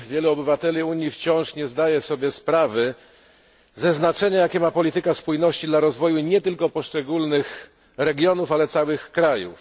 Wielu obywateli Unii wciąż nie zdaje sobie sprawy ze znaczenia, jakie ma polityka spójności dla rozwoju nie tylko poszczególnych regionów, ale całych krajów.